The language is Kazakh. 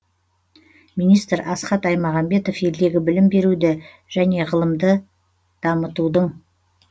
министр асхат аймағамбетов елдегі білім беруді және ғылымды дамытудың